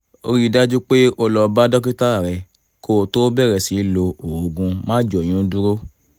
ríi dájú pé o lọ bá dókítà rẹ kó o tó bẹ̀rẹ̀ sí lo oògùn máàjóyúndúró